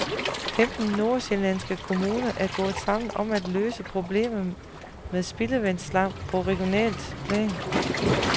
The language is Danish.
Femten nordsjællandske kommuner er gået sammen om at løse problemerne med spildevandsslam på regionalt plan.